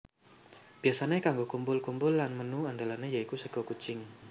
Biyasané kanggo kumpul kumpul lan menu andalané ya iku sega kucing